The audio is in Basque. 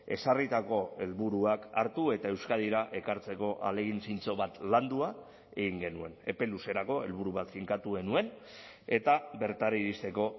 ezarritako helburuak hartu eta euskadira ekartzeko ahalegin zintzo bat landua egin genuen epe luzerako helburu bat finkatu genuen eta bertara iristeko